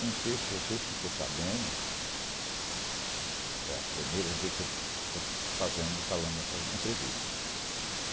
Eu não sei se vocês ficou sabendo... É a primeira vez que eu estou fazendo, falando essas entrevista.